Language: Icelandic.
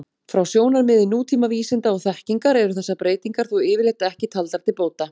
Frá sjónarmiði nútíma vísinda og þekkingar eru þessar breytingar þó yfirleitt ekki taldar til bóta.